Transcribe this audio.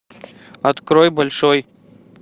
открой большой